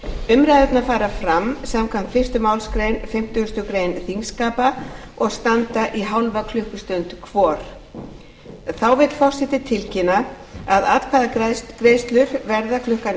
umræðurnar fara fram samkvæmt fyrstu málsgrein fimmtugustu grein þingskapa og standa í hálfa klukkustund hvor þá vill forseti tilkynna að atkvæðagreiðslur verða klukkan eitt þrjátíu að loknu hádegishléi